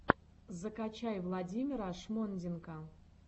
закачай владимира шмонденко